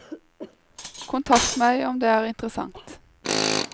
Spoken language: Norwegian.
Kontakt meg om det er interssant.